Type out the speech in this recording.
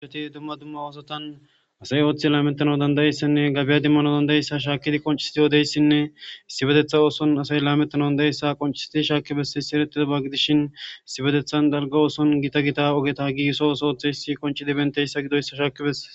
Aheti dumma dumma oosotan asay ooththi laamettana dandayeyssanne gabiya dimmano dandayeyssa shaakkidi qoncisiti yoodeyssinne issi bedetha ooson asay laamettana danda7eyssa qonciseti shaakkibesse sieretidaba gidishin issi bedethan dalga ooson gita gita ogeta gisso oso ooththe issi qonci di benteyssa gidoyssa shaakibesse